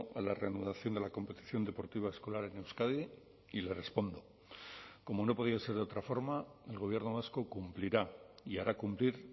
a la reanudación de la competición deportiva escolar en euskadi y le respondo como no podía ser de otra forma el gobierno vasco cumplirá y hará cumplir